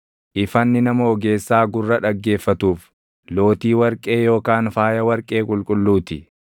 Ifanni nama ogeessaa gurra dhaggeeffatuuf, lootii warqee yookaan faaya warqee qulqulluu ti.